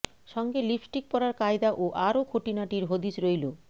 সঙ্গে লিপস্টিক পরার কায়দা ও আরও খুঁটিনাটির হদিশ রইল